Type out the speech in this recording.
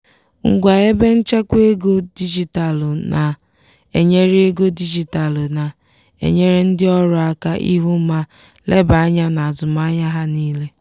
ngwa ebe nchekwa ego dijitalụ na-enyere ego dijitalụ na-enyere ndị ọrụ aka ịhụ ma leba anya n'azụmahịa ha niile.